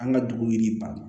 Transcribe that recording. An ka dugu yiriba